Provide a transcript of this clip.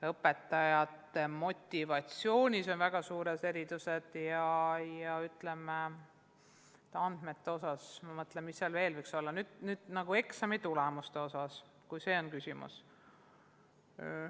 Õpetajate motivatsioonis on väga suured erisused ja ehk ka eksamitulemuste osas, kui see on küsimus.